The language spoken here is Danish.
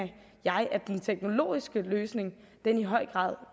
jeg at den teknologiske løsning i høj grad